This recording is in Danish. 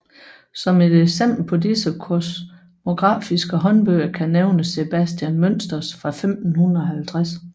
Som et eksempel på disse kosmografiske håndbøger kan nævnes Sebastian Münsters fra 1550